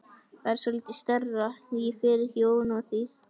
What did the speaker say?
Það er svolítið stærra, ég fer ekki ofan af því!